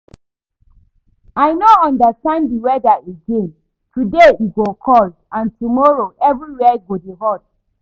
I no understand the weather again, today e go cold and tomorrow everywhere go dey hot